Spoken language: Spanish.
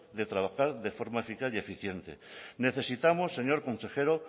de trabajar de forma eficaz y eficiente necesitamos señor consejero